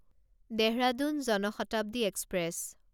Dehradun Jan Shatabdi express